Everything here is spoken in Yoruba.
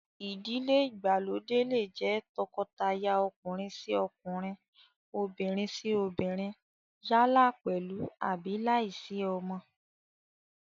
Ìdílé ìgbàlódé lè jẹ́ tọkọtaya ọkùnrin-sí-ọkunrin, obìnrin-sí-obìnrin yálà pèlú àbí láìsí àwọn ọmọ